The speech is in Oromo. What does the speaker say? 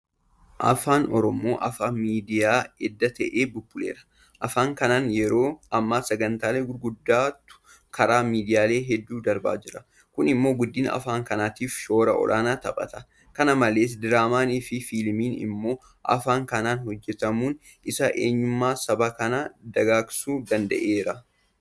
Afaan Oromoo afaan miidiyaa edda ta'ee bubbuleera. Afaan kanaan yeroo ammaa sagantaalee gurguddaatu karaa miidiyaalee hedduu darbaa jira. Kun immoo guddina afaan kanaatiif shoora olaanaa taphata. Kana malees Diraamaafi Fiilmiin immoo afaan kanaan hojjetamuun isaa eenyummaa saba kanaa dagaagsuu danda'eera.